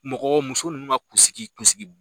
Mɔgɔ muso nunnu ka kun sigi kun sigi